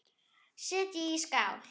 Setjið í skál.